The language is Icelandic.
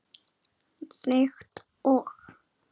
Líkt og